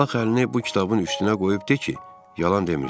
Bax əlini bu kitabın üstünə qoyub de ki, yalan demirsən.